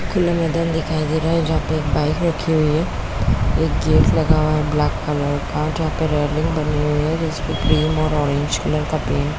खुला मैदान दिखई दे रहा है जहाँ पे एक बाइक रखी हुई हैं एक गेट लगा हुआ है ब्लैक कलर का जहाँ पे रेलिंग बनी हुई है जिसमें ग्रीन और ऑरेंज कलर का पेंट --